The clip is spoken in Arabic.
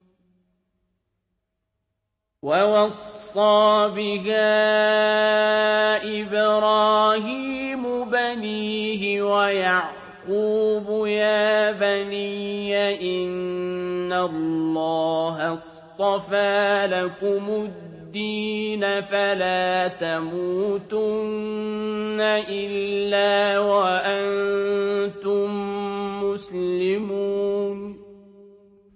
وَوَصَّىٰ بِهَا إِبْرَاهِيمُ بَنِيهِ وَيَعْقُوبُ يَا بَنِيَّ إِنَّ اللَّهَ اصْطَفَىٰ لَكُمُ الدِّينَ فَلَا تَمُوتُنَّ إِلَّا وَأَنتُم مُّسْلِمُونَ